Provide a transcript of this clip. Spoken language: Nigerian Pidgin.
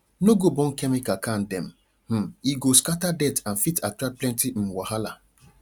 no go burn chemical can dem um e go scatter dirt and fit attract plenty um wahala